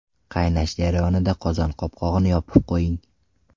Qaynash jarayonida qozon qopqog‘ini yopib qo‘ying.